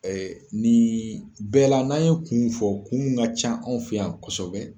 Ɛɛ ni bɛɛla n'an ye kun fɔ kun ka ca anw fɛ yan kosɛbɛ